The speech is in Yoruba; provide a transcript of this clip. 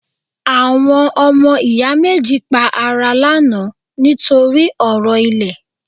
Àwọn ọmọ ìyá méjì pa ara lánàá ní torí ọ̀rọ̀ ilẹ̀